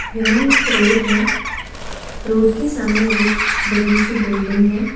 यहां एक रोड है रोड है के सामने एक बड़ी सी बिल्डिंग है।